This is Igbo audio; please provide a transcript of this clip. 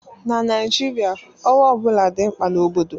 Na Naijiria, ọrụ ọ bụla dị mkpa na obodo